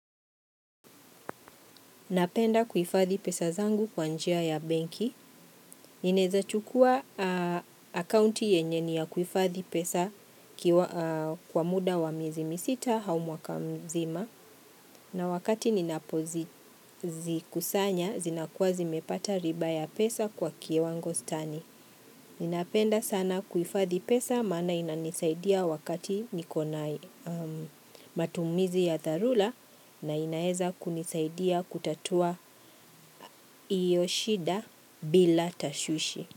Napenda kuhifadhi pesa zangu kwa njia ya benki. Inaeza chukua akaunti yenye ni ya kuhifadhi pesa kwa muda wa miezi misita au mwaka mzima na wakati ninapozikusanya zinakuwa zimepata riba ya pesa kwa kiwango stani. Ninapenda sana kuhifadhi pesa maana inanisaidia wakati niko na matumizi ya dharura na inaweza kunisaidia kutatua hiyo shida bila tashwishi.